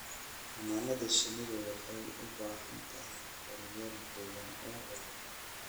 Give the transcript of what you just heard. Xannaanada shinnidu waxay u baahan tahay kheyraad deegaan oo waara.